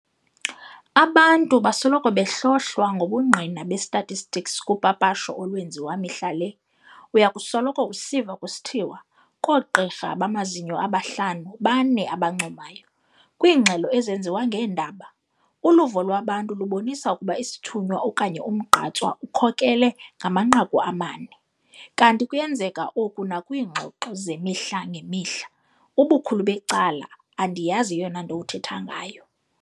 Abantu basoloko behlohlwa ngobungqina be-statistics kupapasho olwenziwa mihla le, uyakusoloko usiva kusithiwa "koogqirha bamazinyo aba-5 ba-4 abancomayo, kwiingxelo ezenziwa ngeendaba, "uluvo lwabantu lubonisa okokuba isithunywa okanye umgqatswa ukhokhele ngamanqaku amane", kanti kuyenzeka oku nakwiingxo zemihla ngemihla, "Ubukhulu becala andiyazi eyonanto uthetha ngayo".